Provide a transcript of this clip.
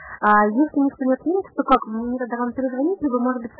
алхимик смотреть